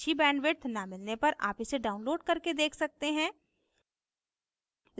अच्छी bandwidth न मिलने पर आप इसे download करके देख सकते हैं